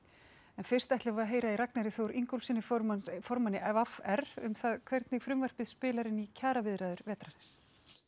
en fyrst ætlum við að heyra í Ragnari Þór Ingólfssyni formanni formanni v r um það hvernig frumvarpið spilar inn í kjaraviðræður vetrarins